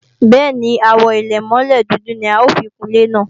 Bẹ́ẹ̀ni, Àwo àlẹ̀mọ́lẹ̀ dúdú ni a ó fi kun ilé náà